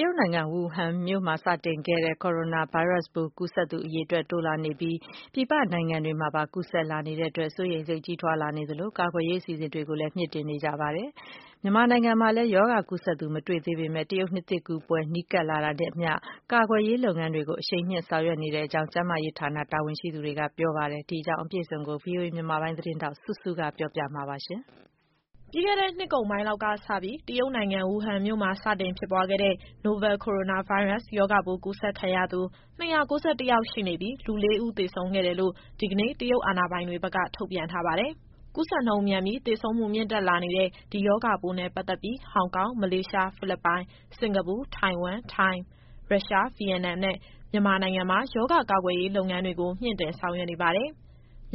ရုတ်နိုင်ငံ ဝူဟန်မြို့မှာ စတင်ခဲ့တဲ့ Corona ဗိုင်းရပ်စ်ပိုး ကူးစက်သူ အရေအတွက် တိုးလာနေသလို၊ ပြည်ပနိုင်ငံတွေမှာပါ ကူးစက်မှုတွေ ရှိလာနေတဲ့အတွက် စိုးရိမ်မှုတွေ ကြီးထွားလာနေသလို ကာကွယ်ရေး အစီအစဉ်တွေကိုလည်း တိုးမြှင့်နေကြပါတယ်။ မြန်မာနိုင်ငံမှာလည်း ရောဂါကူးစက်သူ မတွေ့သေးပေမယ့် တရုတ်နှစ်သစ်ကူးပွဲ နီးကပ်လာတာနဲ့အမျှ ကာကွယ်ရေးလုပ်ငန်းတွေကို အရှိန်မြှင့် ဆောင်ရွက်နေကြောင်း ကျန်းမာရေးဌာန တာဝန်ရှိသူတွေက ပြောပါတယ်။ အပြည့်အစုံကိုတော့ ဗွီအိုအေမြန်မာပိုင်း သတင်းထောက် စုစုက ပြောပြပေးမှာပါ။ ပြီးခဲ့တဲ့ နှစ်ကုန်ပိုင်းလောက်ကစပြီး တရုတ်နိုင်ငံ ဝူဟန်မြို့မှာ စတင်ဖြစ်ပွားခဲ့တဲ့ Novel Coronavirus ရောဂါပိုးကူးစက်ခံရသူ ၂၉၁ယောက်ရှိနေပြီး၊ လူလေးဦးသေဆုံးခဲ့တယ်လို့ ဒီကနေ့ တရုတ်အာဏာပိုင်တွေဘက်က ထုတ်ပြန်ထားပါတယ်။ ကူစက်နှုန်းမြန်ပြီး သေဆုံးမှုမြင့်တက်လာနေတဲ့ ဒီရောဂါပိုးနဲ့ပတ်သက်ပြီး ဟောင်ကောင်၊ မလေးရှား၊ ဖိလစ်ပိုင်၊ စင်္ကာပူ၊ ထိုင်ဝမ်၊ ထိုင်း၊ ရုရှား၊ ဗီယက်နမ်နဲ့ မြန်မာနိုင်ငံမှာ ရောဂါကာကွယ်ရေးလုပ်ငန်းတွေကို မြှင့်တင်ဆောင်ရွက်နေပါတယ်။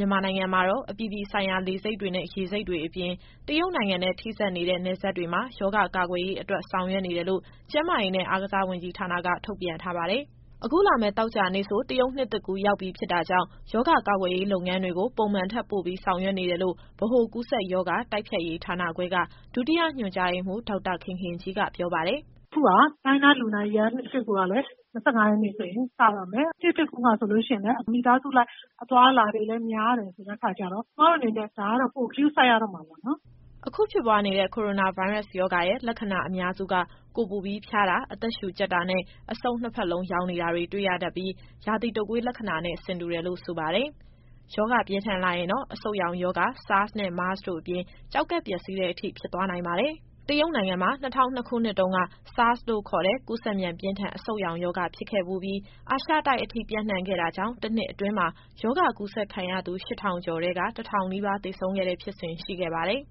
မြန်မာနိုင်ငံမှာတော့ အပြည်ပြည်ဆိုင်ရာလေဆိပ်တွေနဲ့ ရေဆိပ်တွေအပြင် တရုတ်နိုင်ငံနဲ့ ထိစပ်နေတဲ့ နယ်စပ်တွေမှာ ရောဂါကာကွယ်ရေးအတွက် ဆောင်ရွက်နေတယ်လို့ ကျန်းမာရေးနဲ့ အားကစားဝန်ကြီးဌာနက ထုတ်ပြန်ထားပါတယ်။ အခုလာမယ့် သောကြာနေ့ဆို တရုတ်နှစ်သစ်ကူးရောက်ပြီဖြစ်တာကြောင့် ရောဂါကာကွယ်ရေး လုပ်ငန်းတွေကို ပုံမှန်ထက် ပိုပြီးဆောင်ရွက်နေတယ်လို့ ဗဟိုကူးစက်ရောဂါ တိုက်ဖျက်ရေးဌာနခွဲက ဒုတိယညွှန်ကြားရေးမှူး ဒေါက်တာခင်ခင်ကြီးက ပြောပါတယ်။ “အခုက China Lunar Year နှစ်သစ်ကူးကလည်း ၂၅ရက်နေ့ဆိုရင် စတော့မယ်။ နှစ်သစ်ကူးမှာဆိုရင်လည်း မိသားစုလိုက် အသွားအလာတွေလည်း များတယ်ဆိုတဲ့အခါကျတော့ ကျမတို့အနေနဲ့ ဒါကတော့ ပိုဂရုစိုက်ရတော့မှာပေါ့နော်။” အခုဖြစ်ပွားနေတဲ့ Coronavirus ရောဂါရဲ့ လက္ခဏာအများစုက ကိုယ်ပူပြီးဖျားတာ၊ အသက်ရှူကြပ်တာနဲ့ အဆုတ်နှစ်ဖက်လုံးရောင်နေတာ တွေ့ရတတ်ပြီး ရာသီတုတ်ကွေးရောဂါလက္ခဏာနဲ့ ဆင်တူတယ်လို့ဆိုပါတယ်။ ရောဂါပြင်းထန်လာရင်တော့ အဆုတ်ရောင်ရောဂါ၊ SARS နဲ့ MERS တို့အပြင် ကျောက်ကပ်ပျက်စီးတဲ့အထိ ဖြစ်သွားနိုင်ပါတယ်။ တရုတ်နိုင်ငံမှာ ၂၀၀၂ ခုနှစ်တုန်းက SARS လို့ခေါ်တဲ့ ကူးစက်မြန်ပြင်းထန် အဆုတ်ရောင်ရောဂါဖြစ်ခဲ့ဖူးပြီး အာရှတိုက်အထိ ပျံ့နှံ့ခဲ့တာကြောင့် တနှစ်အတွင်းမှာ ရောဂါကူးစက်ခံရသူ ရှစ်ထောင်ကျော်ထဲက တထောင်နီးပါးသေဆုံးခဲ့တဲ့ ဖြစ်စဉ် ရှိခဲ့ပါတယ်။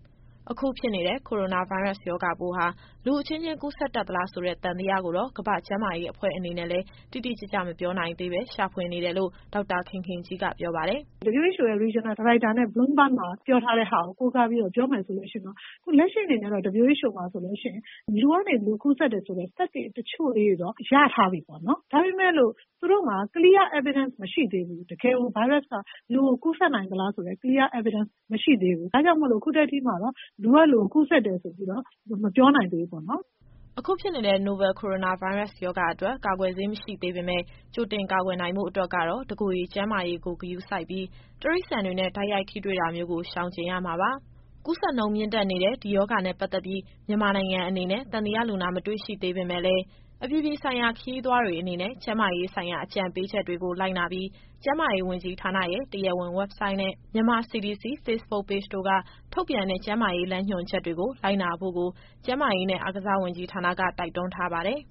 အခုဖြစ်နေတဲ့ Coronavirus ရောဂါပိုးဟာ လူအချင်းချင်းကူးစက်တတ်သလားဆိုတဲ့ သံသယကိုတော့ ကမ္ဘာ့ကျန်းမာရေးအဖွဲ့အနေနဲ့လည်း တိတိကျကျ မပြောနိုင်သေးဘဲ ရှာဖွေနေတယ်လို့ ဒေါက်တာခင်ခင်ကြီးက ပြောပါတယ်။ “WHO National Director နဲ့ Bloomberg မှာ ပြောထားတဲ့ဟာကို ကိုးကားပြီးတော့ ပြောမယ်ဆိုလို့ရှိရင်တော့ အခုလက်ရှိအနေအထားတော့ WHO မှာဆိုလို့ရှိရင် လူကနေ လူကိုကူးစက်တယ်ဆိုတဲ့ သက်သေတချို့လေးတွေတော့ ရထားပြီပေါ့နော်။ ဒါပေမယ့်လို့ သူတို့မှာ Clear Evidence မရှိသေးဘူး။ တကယ်ကို ဗိုင်းရပ်စ်က လူကိုကူးစက်နိုင်သလားဆိုတဲ့ Clear Evidence မရှိသေးဘူး။ ဒါကြောင့်မို့လို့ အခုထက်ထိမှာတော့ လူကလူကို ကူးစက်တယ်ဆိုပြီးတော့ မပြောနိုင်သေးဘူးပေါ့နော်။” အခုဖြစ်နေတဲ့ Novel Coronavirus ရောဂါအတွက် ကာကွယ်ဆေးမရှိသေးပေမယ့် ကြိုတင် ကာကွယ်နိုင်ဖို့အတွက်ကတော့ တစ်ကိုယ်ရေကျန်းမာရေးကို ဂရုစိုက်ပြီး တိရစ္ဆာန်တွေနဲ့ တိုက်ရိုက်ထိတွေ့တာမျိုးကို ရှောင်ကြဉ်ရမှာပါ။ ကူးစက်နှုန်းမြင့်တက်နေတဲ့ ဒီရောဂါနဲ့ ပတ်သက်ပြီး မြန်မာနိုင်ငံအနေနဲ့ သံသယလူနာ မတွေ့ရှိသေးပေမယ့်လည်း အပြည်ပြည်ဆိုင်ရာ ခရီးသွားတွေအနေနဲ့ ကျမ်းမာရေးဆိုင်ရာ အကြံပေးချက်တွေကို လိုက်နာပြီး ကျန်းမာရေးဝန်ကြီးဌာနရဲ့ တရားဝင် Website နဲ့ Myanmar CDC Facebook Page တို့က ထုတ်ပြန်တဲ့ ကျန်းမာရေးလမ်းညွှန်ချက်တွေကို လိုက်နာဖို့ကို ကျန်းမာရေးနဲ့ အားကစားဝန်ကြီးဌာနက တိုက်တွန်းထားပါတယ်။